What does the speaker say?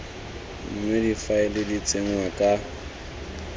mme difaele di tsenngwa ka